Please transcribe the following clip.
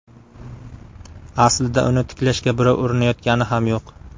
Aslida uni tiklashga birov urinayotgani ham yo‘q.